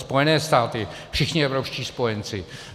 Spojené státy, všichni evropští spojenci.